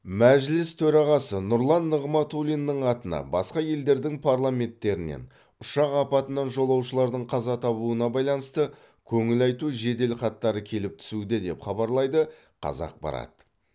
мәжіліс төрағасы нұрлан нығматулиннің атына басқа елдердің парламенттерінен ұшақ апатынан жолаушылардың қаза табуына байланысты көңіл айту жеделхаттары келіп түсуде деп хабарлайды қазақпарат